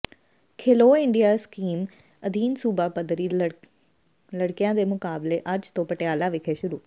Khelo India scheme ਅਧੀਨ ਸੂਬਾ ਪੱਧਰੀ ਲੜਕਿਆਂ ਦੇ ਮੁਕਾਬਲੇ ਅੱਜ ਤੋਂ ਪਟਿਆਲਾ ਵਿਖੇ ਸ਼ੁਰੂ